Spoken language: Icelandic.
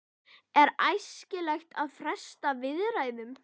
Er æskilegt að fresta viðræðum?